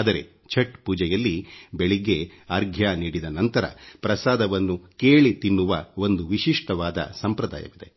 ಆದರೆ ಛಟ್ ಪೂಜೆಯಲ್ಲಿ ಬೆಳಗ್ಗೆ ಅಘ್ರ್ಯ ನೀಡಿದ ನಂತರ ಪ್ರಸಾದವನ್ನು ಕೇಳಿ ತಿನ್ನುವ ಒಂದು ವಿಶಿಷ್ಟವಾದ ಸಂಪ್ರದಾಯವಿದೆ